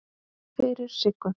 Fyrir Siggu.